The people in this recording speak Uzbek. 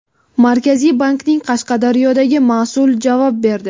Markaziy bankning Qashqadaryodagi mas’uli javob berdi.